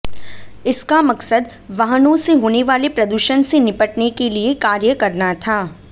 इसका मकसद वाहनों से होने वाले प्रदूषण से निपटने के लिए कार्य करना था